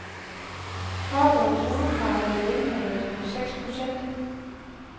Forbundets hovedkrav er en lønforhøjelse på seks procent.